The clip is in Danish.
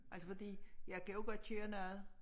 Altså fordi jeg kan jo godt køre noget